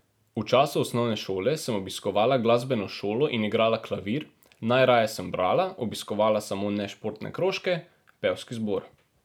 V času osnovne šole sem obiskovala glasbeno šolo in igrala klavir, najraje sem brala, obiskovala samo nešportne krožke, pevski zbor.